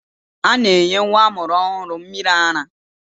A na-enye nwa amụrụ ọhụrụ mmịrị ara.